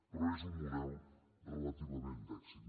però és un model relativament d’èxit